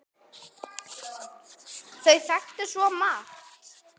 Þau þekktu svo marga.